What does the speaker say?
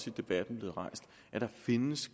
i debatten findes